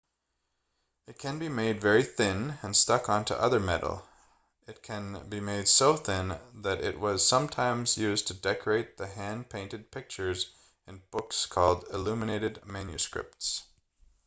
it can be made very thin and stuck onto other metal it can be made so thin that it was sometimes used to decorate the hand-painted pictures in books called illuminated manuscripts